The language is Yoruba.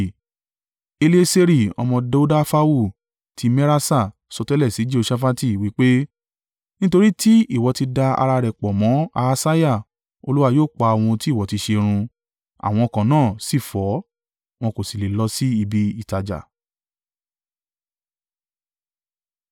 Elieseri ọmọ Dodafahu ti Meraṣa sọtẹ́lẹ̀ sí Jehoṣafati, wí pe, “Nítorí tí ìwọ ti da ara rẹ̀ pọ̀ mọ́ Ahasiah, Olúwa yóò pa ohun ti ìwọ ti ṣe run.” Àwọn ọkọ̀ náà sì fọ́, wọn kò sì le lọ sí ibi ìtajà.